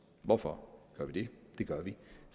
hvorfor gør vi det det gør vi